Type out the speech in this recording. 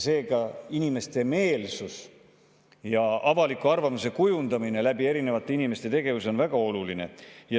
Seega on inimeste meelsuse ja avaliku arvamuse kujundamine läbi erinevate inimeste tegevuste väga oluline.